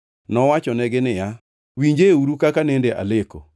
Nowachonegi niya, “Winjeuru kaka nende aleko: